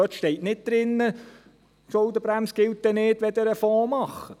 Dort steht nicht, dass die Schuldenbremse dann nicht gilt, wenn ein Fonds gemacht wird.